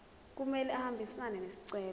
kumele ahambisane nesicelo